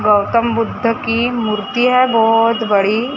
गौतम बुद्ध की मूर्ति है बहोत बड़ी--